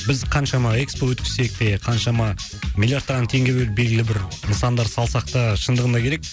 біз қаншама экспо өткізсек те қаншама миллиардтаған теңге бөліп білгілі бір нысандар салсақ та шындығында керек